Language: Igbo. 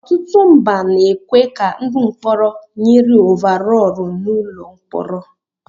Ọtụtụ mba na-ekwe ka ndị mkpọrọ nyiri óváróóru n'ụlọ mkpọrọ